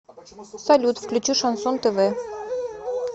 салют включи шансон тв